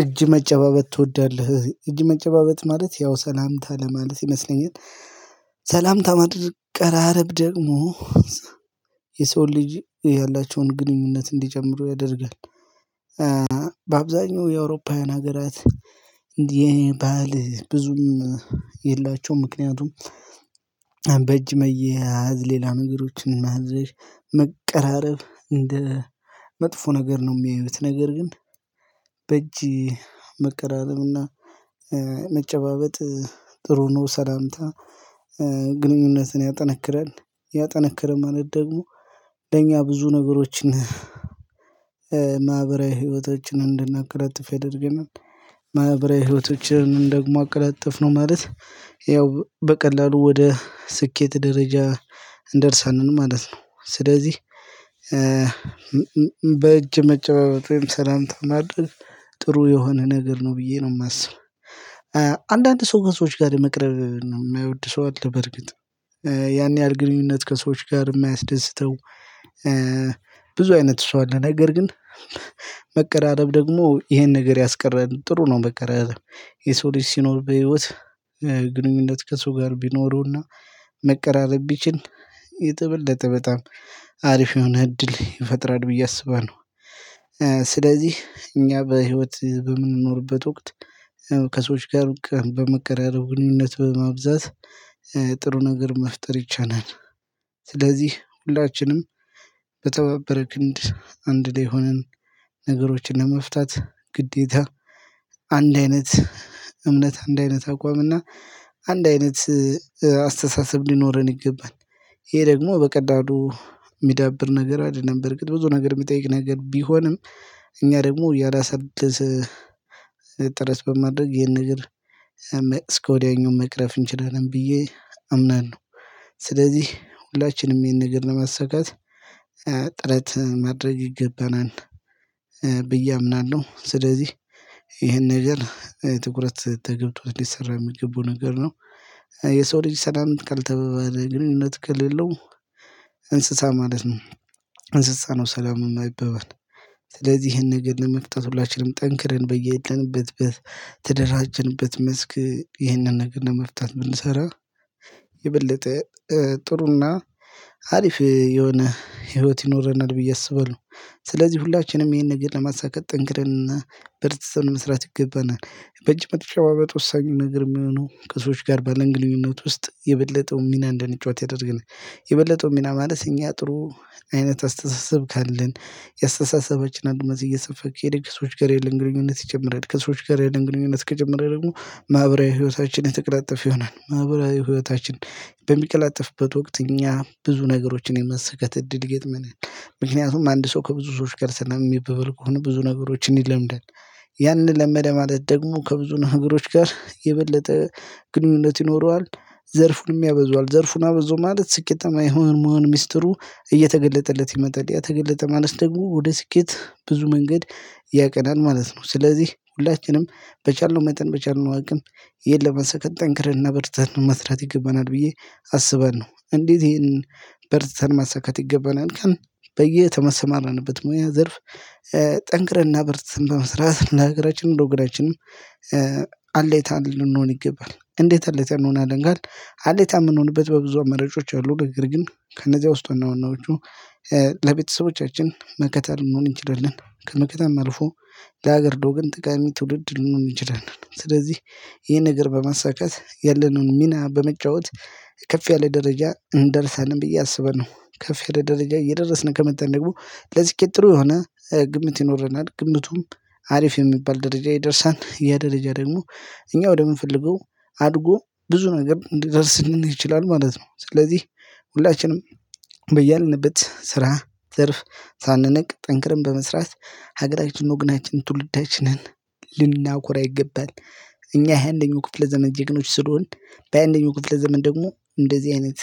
እጅ መጨባበት ትወዳለህ እጅ መጨባበት ማለት ያው ሰላምታ ለማለት ይመስለኛል። ሰላምታ ማድረግት መቀራረብ ደግሞ የሰው ልጅ ያላቸውን ግንኙነት እንዲጀምሩ ያደርጋል። በአብዛኛው የአውሮፓውያን ሀገራት እንዲህ አይነት የባል ብዙም የላቸውም ምክንያቱም በእጅ መያዝ ሌላ ነገሮችን መቀረራብ እንደ መጥፎ ነገር ነው የሚያዩት ነገር ግን በእጅ መቀራረብና መጨባበጥ ጥሩ ነው። ሰላምታ ግንኙነትን ያጠነክራል ያጠነከረን ማለት ደግሞ ለኛ ብዙ ነገሮችን ማህበራዊ ህይወቶችን እንድናቀለጥፍ የደረገን ማህበራዊ ህይወቶችን እንደግሞ አቀላጠፍነው ማለት ያው በቀላሉ ወደ ስኬት ደረጃ እንደርሳን ማለት ነው። ስለዚህ በእጅ መጨባበጥ ወይም ሰላምታ ማድረግ ጥሩ የሆነ ነገር ነው ብዬ ነው የማስበው። አንዳንድ ሰው ከሰዎች ጋር መቅረብ ነው የማይወድ ሰው አለ በርግጥ ያን ያህል ግንኙነት ከሰዎች ጋር የማያስደስተው። ብዙ አይነት ሰው አለ ነገር ግን መቀራረብ ደግሞ ይሄን ነገር ያስቀረን ጥሩ ነው መቅረብ የሰው ልጅ ሲኖር በህይወት ግንኙነት ከሱ ጋር ቢኖረውና መቀራረብ ቢችል የተበለጠ በጣም አሪፍ የሆነ እድል ይፈጥራል ብዬ አስባለሁ። ስለዚህ እኛ በህይወት በምንኖርበት ወቅት ከሰዎች ጋር በመከራረብ ግንኙነት በማብዛት ጥሩ ነገር መፍጠር ይቻላል። ስለዚህ ሁላችንም በተባበረ ክንድ አንድ ላይ ሆነን ነገሮችን ለመፍታት ግዴታ አንድ አይነት እምነት አንድ አይነት አቋምና አንድ አይነት አስተሳሰብ ሊኖረን ይገባል። ይሄ ደግሞ በቀዳዱ የሚዳብር ነገር አይደለም በርግጥ ብዙ ነገር የሚጠይቅ ነገር ቢሆንም እኛ ደግሞ ያላሳደሰ ጥረት በማድረግ ይሄን ነገር መቅስ ከወዲያኙ መቅረፍ እንችላለን ብዬ አምናለሁ። ስለዚህ ሁላችንም ይሄን ነገር ለመሰካት ጥረት ማድረግ ይገባናል ብዬ አምናለሁ። ስለዚህ ይሄን ነገር ትኩረት ተገብቶት ሊሰራ የሚገቡ ነገር ነው የሰው ልጅ ሰላም ካልተባባለ ግንኙነት ከሌለው እንስሳ ማለት ነው። እንስሳ ነው ሰላም የማይበባል ስለዚህ ይሄን ነገር ለመፍታት ሁላችንም ጠንክረን በየተንበትበት ተደረጀትንበት መስክ ይህንን ነገር ለመፍታት ብንሰራ የበለጠ ጥሩና አሪፍ የሆነ ህይወት ይኖረናል ብዬ አስበለው። ስለዚህ ሁላችንም ይሄን ብዬ ለማሳካት ጠንክረንና በርተት መስራት ይገባናል በእጅ መጨባበጥ ወሳኙን ነገር የሚሆነው ከሰዎች ጋር ባለንግልኝነት ውስጥ የበለጠውን ሚና እንደንጫወት ያደርገናል። የበለጠው ሚና ማለት እኛ ጥሩ አይነት አስተሳሰብ ካለን የአስተሳሰባችን አንድነት እየሰፋ ከሄደ ከስዎች ጋር የለን ግንኙነት ይጨምራል ከሰዎች ጋር የለን ግንኙነት ከጨመረ ደግሞ ማህበራዊ ህይወታችን የተቀለጣጠፈ ይሆናል ማህበራዊ ህይወታችን በሚቀላጠፍበት ወቅት እኛ ብዙ ነገሮችን የማሳከካት እድል ይገጥመናል። ምክንያቱም አንድ ሰው ከብዙ ሰዎች ሰላም የሚበበል ከሆነ ብዙ ነገሮችን ይለምዳል ያንን ለመደ ማለት ደግሞ ከብዙ ነገሮች ጋር የበለጠ ግንኙነት ይኖረዋል። ዘርፉን ያበዟል ዘርፉን አበዙ ማለት ስኬታማ የመሆን ምስጢሩ እየተገለጠለት ይመጣል ያ ተገለጠ ማለት ደግሞ ወደ ስኬት ብዙ መንገድ ያቀናል ማለት ነው። ስለዚህ ሁላችንም በቻልነው መጠን በቻልነው አቅም ይሄን ለመሳካት ጠንክረን ነበርተን መስራት ይገባናል ብዬ አስባለው እንዴት ይሄንን በርዝተን ማሳካት ይገባናል ቀን በየተመሰማረንበት ሙያ ዘርፍ ጠንክረንና በርትተን በመስራት ለሃገረችንም ለወገናችንም አለይታ ልንሆን ይገባል። እንዴት አለይታ እንሆናለን ካልን አለይታ ምንሆንበት በብዙ አማራጮች አሉ ነገር ግን ከነዚያ ውስጥ ዋና ዋናዎቹ ለቤተሰቦቻችን መከታ ልንሆን እንችላለን ከመከታም አልፎ ለሀገር ለወገን ጠቃሚ ትውልድ ልንሆን እንችላለን። ስለዚህ ይሄን ነገር በማሳካት ያለነውን ሚና በመጫወት ከፍ ያለ ደረጃ እንደርሳለን ብዬ አስባለውን ከፍ ያለ ደረጃ እየደረስን ከመጣን ደግሞ ለስኬት ጥሩ የሆነ ግምት ይኖረናል። ግምቱም አሪፍ የሚባል ደረጃ ይደርሳል ያደረጃ ደግሞ እኛ ወደምንፈልገው አድጎ ብዙ ነገር ሊደርስ ይችላል ማለት ነው። ስለዚህ ሁላችንም በያልንበት ስራ ዘርፍ ሳንነቅ ጠንክረን በመስራት ሀገራችን ወግናችን ትውልዳችንን ልናኩራ ይገባል። እኛ የሃያ አንደኛው ክፍለ ዘመን ጀግኖች ስለሆንን በሃያ አንደኛው ክፍለ ዘመን ደግሞ እንደዚህ አይነት